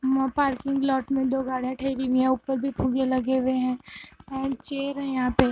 no parking lot में दो गाड़ियां ठहरी हुईं हैं ऊपर भी फुगे लगे हुए हैं ये चेयर है यहां पे--